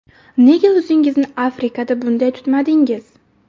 Nega o‘zingizni Afrikada bunday tutmadingiz?!